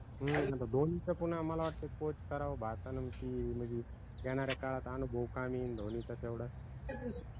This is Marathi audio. म्हनुनच म्हटल धोनीचं पुन्हा मला वाटत Coache करावं भारतानं की, म्हनजी येनाऱ्या काळात आनुभव कमी येईन धोनीचा तेवढा